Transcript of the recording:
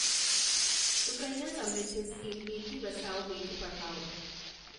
Sukanya Samriddhi scheme Beti Bachao Beti Padhao